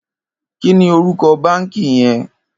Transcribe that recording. Kini órúkò bànkí yèn?